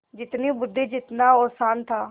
जितनी बुद्वि जितना औसान था